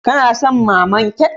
Kana son naman kek?